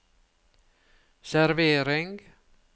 servering